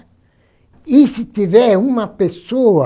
E se tiver uma pessoa